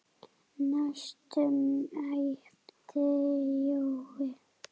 næstum æpti Jói.